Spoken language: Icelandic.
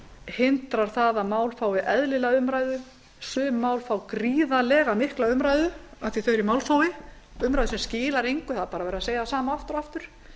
hindra það að mál fái eðlilega umræðu sum mál fá gríðarlega mikla umræðu af því að þau eru í málþófi umræðu sem skilar engu það er bara verið að segja það sama aftur og aftur